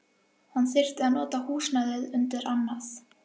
Hann þyrfti að nota húsnæðið undir annað.